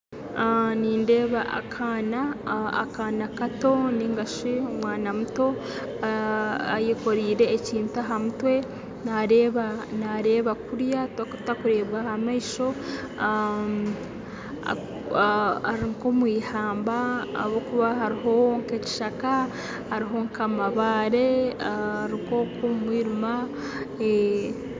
Nindeeba akaana akaana kato ningashi omwana muto ayekoreire ekintu aha mutwe naareeba naareeba kuriya tarikureebwa ah'amaisho ari nk'omu eihamba ahabw'okuba hariho nk'ekishaka hariho nk'amabaare ari nk'okwe omu mwirima.